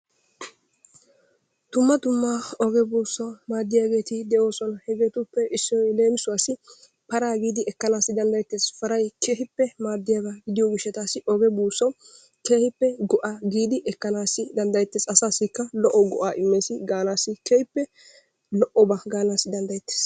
Dumma dumma oge buussaw maadiyaageeti de'oosona. Hegetuppekka issoy leemisuwassi para giidi ekkana danddayyettees. Paray keehippe maaddiya gidiyo gishshawu oge buussawu keehippe go'a giidi ekkana danddayettees asasikka daro go'a immes gaanassi keehippe lo''oba gaanassi danddayettees.